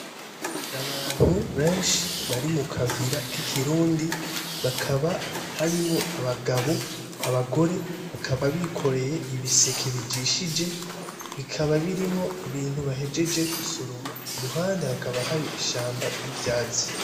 Aha ni mu kayira k’ikirundi, hakaba harimwo abagabo , abagore bakaba bikoreye ibiseke bijishije bikaba birimwo ibintu bahejeje gusoroma , kumpande hakaba hari ishamba ry’ivyatsi.